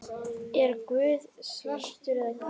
Er Guð svartur eða hvítur?